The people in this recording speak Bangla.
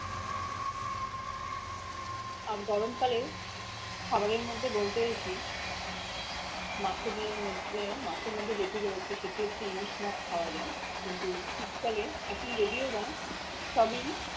আর গরমকালে খাবারের মধ্যে বলতে গেছি মাছেদের মধ্যে মাছের মধ্যে যেটি রয়েছে সেটি হচ্ছে ইলিশ মাছ খাওয়া যায় কিন্তু শীতকালে এখন যদিও বা সবই